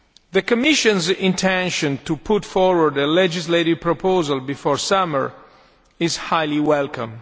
The Commission's intention to put forward a legislative proposal before the summer is highly welcome.